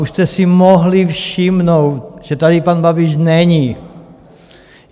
Už jste si mohli všimnout, že tady pan Babiš není.